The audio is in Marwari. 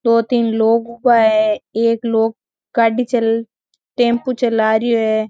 दो तीन लोग उबा है एक लोग गाड़ी चल टेम्पो चला रिओ है।